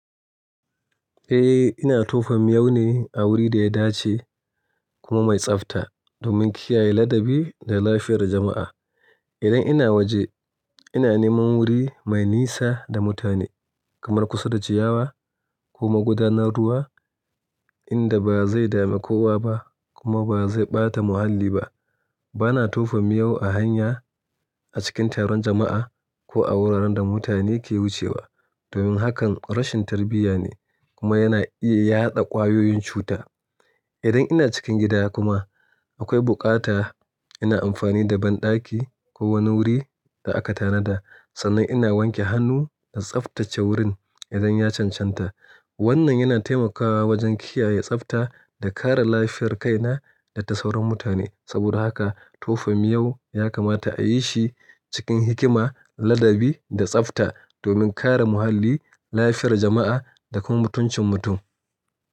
Eh, ina tofa miyau ne a wuri da ya dace, kuma mai tsafta, domin kiyaye ladabi da lafiyar jama'a. Idan ina waje, ina neman wuri mai nisa da mutane kamar kusa da ciyawa ko magudanar ruwa inda ba zai dame kowa ba kuma ba zai ɓata muhalli ba. Bana tofa miyau a hanya, a cikin taron jama'a, ko a wuraren da mutane ke wucewa, domin hakan rashin tarbiyya ne, kuma yana iya yaɗa ƙwayoyin cuta idan ina cikin gida kuma, akwai buƙata, ina amfani da banɗaki ko wani wuri da aka tanada, sannan ina wanke hannu da tsaftace wurin idan ya cancanta Wannan yana taimakawa wajen kiyaye tsafta, da kare lafiyar kaina, da ta sauran mutane. Saboda haka tofa miyau ya kamata a yi shi cikin hikima, ladabi da tsafta domin kare muhalli, lafiyar jama'a da kuma mutuncin mutum.